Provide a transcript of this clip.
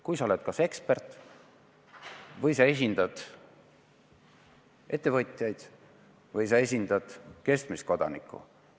Kui sa oled kas ekspert või sa esindad ettevõtjaid või sa esindad keskmist kodanikku.